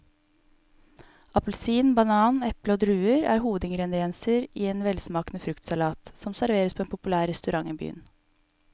Appelsin, banan, eple og druer er hovedingredienser i en velsmakende fruktsalat som serveres på en populær restaurant i byen.